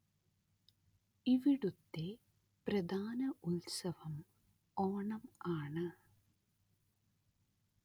ഇവിടത്തെ പ്രധാന ഉത്സവം ഓണം ആണ്